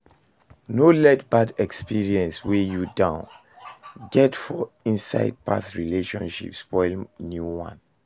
No let bad experience wey you don get for inside past relationship spoil new one